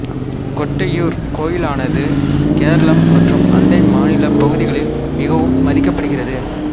கொட்டியூர் கோயிலானது கேரளம் மற்றும் அண்டை மாநிலப் பகுதிகளில் மிகவும் மதிக்கப்படுகிறது